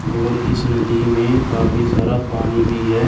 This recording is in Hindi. और इस नदी में काफी सारा पानी भी है।